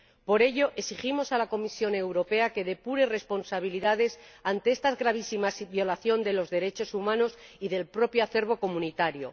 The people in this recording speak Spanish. Por ello, exigimos a la Comisión Europea que depure responsabilidades ante esta gravísima violación de los derechos humanos y del propio acervo comunitario.